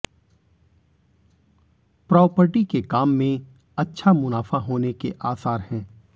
property के काम में अच्छा मुनाफा होने के आसार हैं